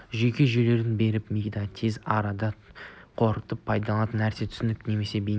жүйке жүйелеріне беріп мида тез арада қорытып пайда болған нәрсе түсінік пе немесе бейне